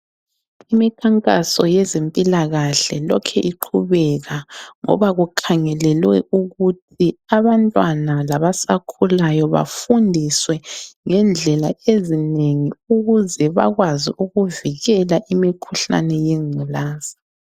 Imikhankaso yezempilakahle lokhe iqhubeka ngoba kukhangelelwe ukuthi abantwana labasakhulayo bafundiswe ngendlela ezinengi ukuze bakwazi ukuvikela imikhuhlane yengculaza.